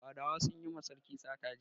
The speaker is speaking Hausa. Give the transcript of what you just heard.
Fadawa sun yi ma sarki sata jiya